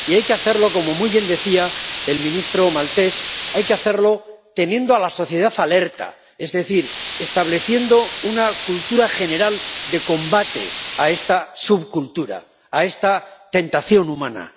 Y hay que hacerlo —como muy bien decía el ministro estonio— teniendo a la sociedad alerta, es decir, estableciendo una cultura general de combate de esta subcultura, de esta tentación humana